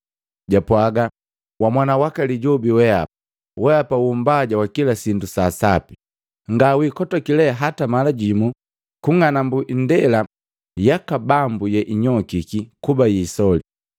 japwaga, “Wamwana waka lijobi weapa, weapa wumbaja wa kila sindu sa asapi, ngale ukotoka hata mala jimu kung'anambu ndela yaka Bambu yeinyokiki kuba yisoli!